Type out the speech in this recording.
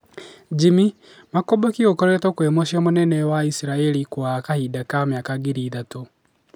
Jimmy:Makomboki gũkorotwo kwĩ muciĩ mũnene wa Isirairi gwa kahinda kwa mĩaka ngiri ithatũ